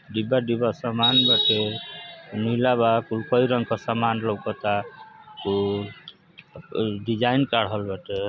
डिब्बा डिब्बा सामान बाटे। नीला बा। कुल कई रंग क सामान लउकता। कुल डिजाइन काढल बाटे।